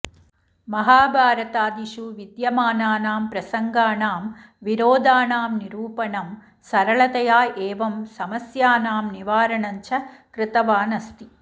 महाभारतादिषु विद्यमानानां प्रसङ्गाणां विरोधाणां निरूपणं सरलतया एवं समस्याणां निवारणञ्च कृतवान् अस्ति